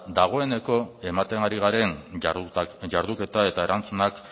dagoeneko ematen ari garen jarduketa eta erantzunak